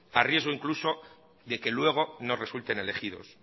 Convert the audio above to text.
a riesgo incluso de que luego no resulten elegidos